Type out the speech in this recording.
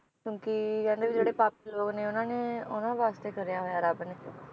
ਕਿਉਕਿ ਕਹਿੰਦੇ ਵ ਜਿਹੜੇ ਪਾਪੀ ਲੋਗ ਨੇ ਉਹਨਾਂ ਨੇ ਉਹਨਾਂ ਵਾਸਤੇ ਕਰਿਆ ਹੋਇਆ ਰੱਬ ਨੇ